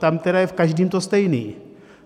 Tam tedy je v každém to stejný.